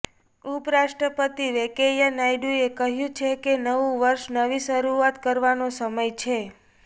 ઉપરાષ્ટ્રપતિ વેંકૈયા નાયડુએ કહ્યું છે કે નવું વર્ષ નવી શરૂઆત કરવાનો સમય છે